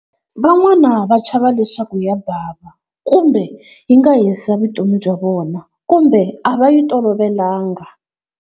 Van'wana va chava leswaku ya bava kumbe yi nga hisa vutomi bya vona kumbe a va yi tolovelanga.